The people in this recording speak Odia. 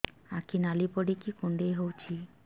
ଆଖି ନାଲି ପଡିକି କୁଣ୍ଡେଇ ହଉଛି